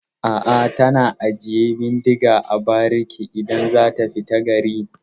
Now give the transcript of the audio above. A'a, tana ajiye bindiga a bariki idan za ta fita gari.